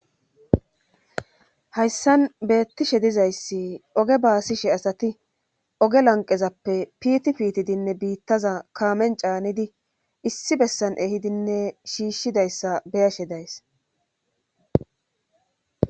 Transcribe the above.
Hayssan beettishe dizayssi oge baasishe asati oge lanqezappe pitipitidinne biittaza kaamen caanidi issi bessan ehidinne shiishshidayssa beyashe days.